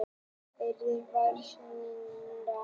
Erindinu var synjað.